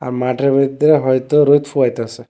মাঠের ভিতরে হয়তো রোদ পোহাইতাসে।